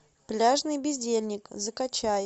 пляжный бездельник закачай